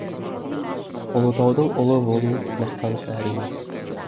ұлытаудың ұлы болу мақтаныш әрине